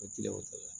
O kiliyanw tɛ